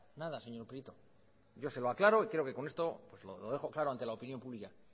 nada señor prieto yo se lo aclaro y creo que con esto lo dejo claro ante la opinión pública